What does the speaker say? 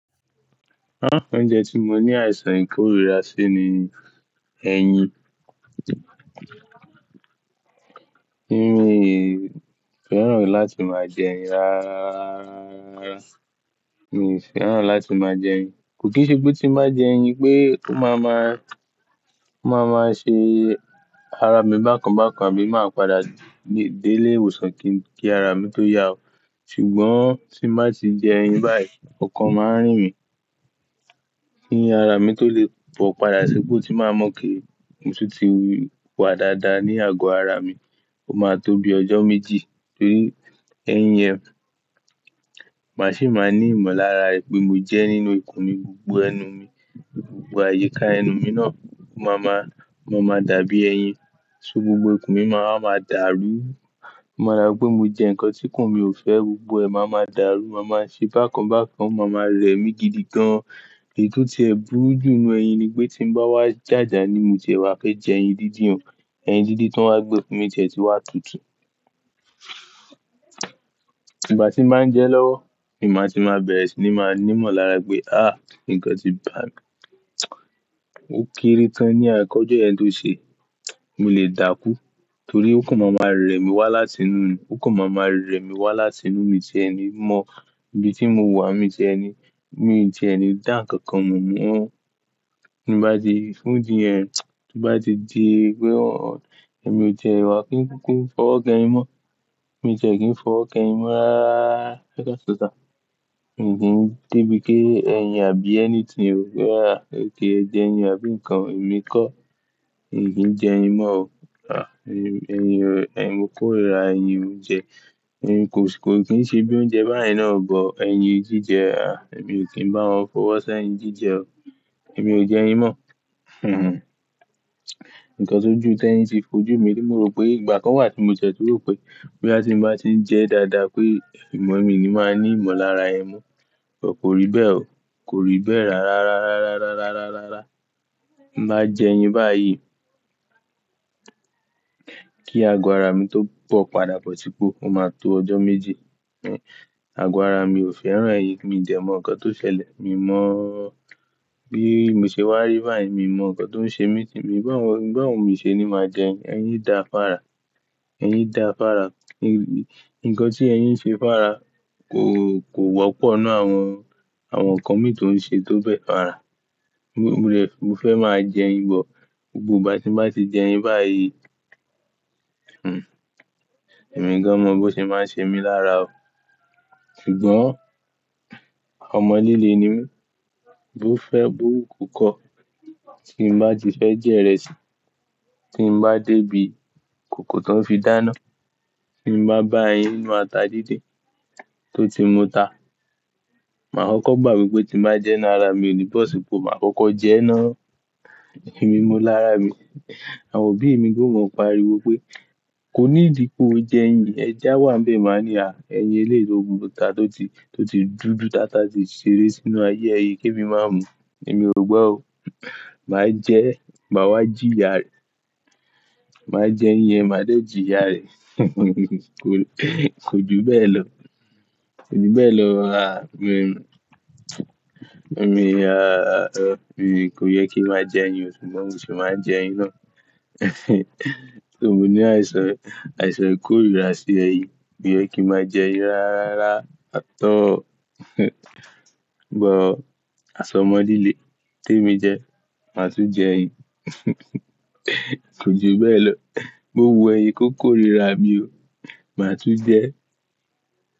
Á, oúnjẹ tí mo ní àìsàn ìkórira sí ni ẹyin. Ẹyin. Mi fẹ́ràn láti máa jẹ ẹyin rárá. Mi ò fẹ́ràn láti máa jẹ ẹyin. Kò kí n ṣe pé tí máa jẹ ẹyin pé ó máa ma, ó máa ma ṣe ara mi bákan bákan àbí máa padà dé, dé lé ìwòsàn kí, kí ara mi tó yá o. Ṣùgbọ́n tí má sì jẹ ẹyin báyìí ọkàn máa ń rìn mí. Kí ara mi tó lè bọ̀ padà ṣé kó tí máa mọ̀ kí nṣú ti wà dáadáa ní àgọ ara mi, ó máa tóbi ọjọ́ méjì torí ẹyin yẹn. Màá sì máa ní ìmọ̀lára pé mo jẹ nínú ikùn mi, gbogbo ẹnu mi, gbogbo àyíká ẹnu mi náà máa ma, máa ma dàbí ẹyin. Só gbogbo ikùn mi máa ma dàrú. Mọ̀ dá pé mo jẹ nǹkan tí ikùn mi ò fẹ́ gbogbo ẹ máa ma dàrú, máa máa ṣe bákan bákan, máa ma rẹ mí gidigan. Èyí tó ṣe búúlù nínú ẹyin ni pé tí ń bá wá jàjà nímú jẹ, wá fẹ́ jẹ ẹyin dídì o, ẹyin dídí tó ń wá gbẹ fún mi jẹ ti wá tutù. Ìgbà tí máa ń jẹ lọ́wọ́ ni màá ti máa bẹ̀rẹ̀ sí ní máa ní ìmọ̀lára pé á nǹkan ti bà mí. Ó kiri tán ní àkọ́jọ ẹni tó ṣe. Mo lè dákú torí ó kàn máa ma rẹ mí wá láti inú mi, ó kàn máa ma rẹ mí wá láti inú mi jẹ ẹni mọ ibi tí mo wà. Mi jẹ ẹni, mi jẹ ẹni dá ǹkan kan mú mọ́. Bá di fún jìn ẹ bá di di pé ọ èmi ò jẹ ìwà kí n kúkú fọwọ́ kan ẹ mọ́. Mi jẹ kí n fọwọ́ kan ẹ mọ́ rá ká ṣoṣà. Mi ò kí n dé bíi kí ẹyin àbí ẹni tí yóò rọ̀ rá, kí ẹ jẹ ẹyin àbí nǹkan, èmi kọ́, mi ò kí ń jẹ ẹyin mọ́ o. À, èmi, ẹyin ò, ẹyin mo kórìíra ẹyin oúnjẹ. Ẹyin kò sì, kò kí ń ṣe bí oúnjẹ báyìí náà gbọ́. Ẹyin jíjẹ a, èmi ò kí ń bá wọn fọwọ́ sá ẹyin jíjẹ o. Èmi ò jẹ ẹyin mọ́. Hinhin. Nǹkan tó ju tẹ́ẹ́ni sì fojú mi tí mo rò pé ìgbà kan wà tí mo jẹ tó rò pé bí a ti ń bá ti ń jẹ dáadáa pé ìmọ̀ mi ni máa ní ìmọ̀lára ẹyin mó. Ọ̀ kò rí bẹ́ẹ̀ o. Kò rí bẹ́ẹ̀ rárá, rárá, rárá, rárá, rárá. Bá jẹ ẹyin báyìí, kí àgọ̀ ara mi tó bọ̀ padà pọ̀ tí kó, ó máa tó ọjọ́ méjì. Àgọ̀ ara mi ò fẹ́ràn ẹyin. Mi jẹ mọ̀ ǹkan tó ṣẹlẹ̀, mi mọ̀ bí mo ṣe wá rí báyìí, mi mọ̀ ǹkan tó ń ṣe mí ti, mi bá wọn, bá wọn ò ṣe ni máa jẹ ẹyin. Ẹyin dàfára. Ẹyin dàfára. Nǹkan tí ẹyin ń ṣe fára kò, kò wọ́pọ̀ nínú àwọn, àwọn ǹkan mi tó ń ṣe tó bẹ́ẹ̀ fára. Mo lè, mo fẹ́ máa jẹ ẹyin bọ̀. Ọ̀ gbogbo ìgbà tí máa ti jẹ ẹyin báyìí, hinhin, èmi gan mọ bó ti máa ń ṣe mí lára o. Ṣùgbọ́n ọmọ líle ni mí. Bó fẹ́ burú kò kọ́. Tí ń bá ti fẹ́ jẹ ìrẹsì, tí ń bá dé ibi kòkò tó ń fi dáná, tí ń bá bá ẹyin inú ata dídé tó ti mú ta, màá kọ́kọ́ gbà mí pé tí máa jẹ náà ara mi ò ní bọ̀ sípò màá kọ́kọ́ jẹ ẹ́ ná. Èmi mọ lára mi. Àwọn òbí mi gò mọ̀ pariwo pé "kò ní ìdí pé o jẹ ẹyin. Ẹja wà ń bẹ máa ní a, ẹyin eléèlo òun ló ta tó ti, tó ti dúdú dáadáa tíì ṣeré sínú ayé ẹyin ki émi má mú." Èmi ò gbọ́ o. Màá jẹ, màá wá jìíyà rẹ̀. Màá jẹ ẹyin, màá dé jìíyà rẹ̀. Kò kò ju bẹ́ẹ̀ lọ. Kò ju bẹ́ẹ̀ lọ rárá. Mi mi rárá. Mi, kò yẹ kí ń máa jẹ ẹyin ṣùgbọ́n mo sì máa ń jẹ ẹyin ná. Ṣùgbọ́n mo ní àìsàn, àìsàn ìkórìíra sí ẹyin. Mi ò yẹ kí ń máa jẹ ẹyin rárá àtọ̀. Ṣùgbọ́n aṣọ ọmọ líle tí èmi jẹ, màá tún jẹ ẹyin. Kò ju bẹ́ẹ̀ lọ. Mo wù ẹyin kó kórìíra mi o. Màá tún jẹ ẹ́.